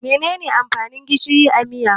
Mene ne amfanin gishiri a miya?